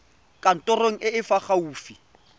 kantorong e e fa gaufi